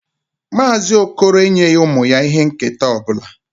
Mazị okoro enyeghị ụmụ ya ihe nketa ọ bụla.